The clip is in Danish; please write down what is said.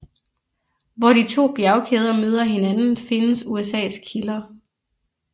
Hvor de to bjergkæder møder hinanden findes Usas kilder